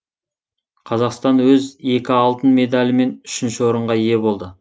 қазақстан өз екі алтын медальімен үшінші орынға ие болды